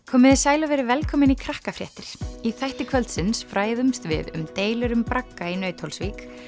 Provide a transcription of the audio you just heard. komiði sæl og verið velkomin í í þætti kvöldsins fræðumst við um deilur um bragga í Nauthólsvík